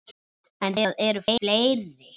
En það eru fleiri.